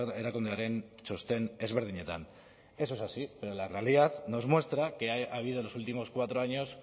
erakundearen txosten ezberdinetan eso es así pero la realidad nos muestra que ha habido en los últimos cuatro años